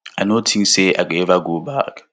i no tink say i go ever go back